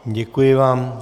Děkuji vám.